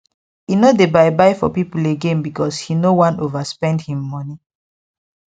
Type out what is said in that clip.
e no de buy buy for people again because he no wan over spend him money